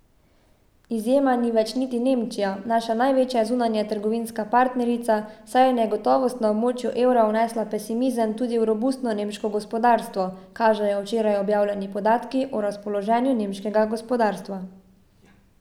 Izjema ni več niti Nemčija, naša največja zunanjetrgovinska partnerica, saj je negotovost na območju evra vnesla pesimizem tudi v robustno nemško gospodarstvo, kažejo včeraj objavljeni podatki o razpoloženju nemškega gospodarstva.